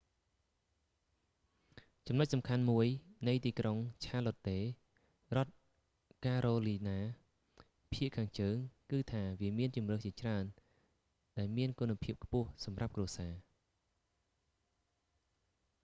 ចំនុចសំខាន់មួយនៃទីក្រុងឆារឡុតតេ charlotte រដ្ឋការ៉ូលីណា ភាគខាងជើង គឺថាវាមានជម្រើសជាច្រើនដែលគុណភាពខ្ពស់សម្រាប់គ្រួសារ